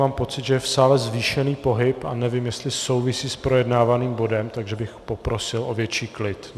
Mám pocit, že je v sále zvýšený pohyb a nevím, jestli souvisí s projednávaným bodem, takže bych poprosil o větší klid.